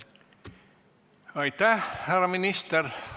Aitäh, härra minister!